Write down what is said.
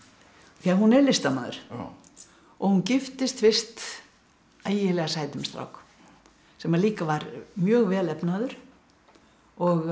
því að hún er listamaður og hún giftist fyrst ægilega sætum strák sem líka var mjög vel efnaður og